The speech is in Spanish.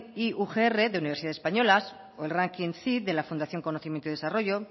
primero ugr de universidades españolas o el ranking cyd de la fundación conocimiento y desarrollo